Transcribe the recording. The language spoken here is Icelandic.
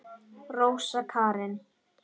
Rósa Karin.